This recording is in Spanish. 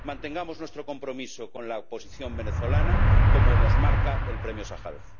Mantengamos nuestro compromiso con la oposición venezolana como nos marca el Premio Sájarov.